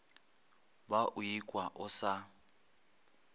ba o ikwa o sa